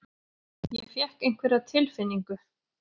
Ég fékk einhverja tilfinningu.